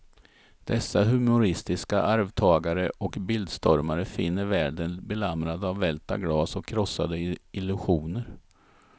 Dessa humoristiska arvtagare och bildstormare finner världen belamrad av välta glas och krossade illusioner.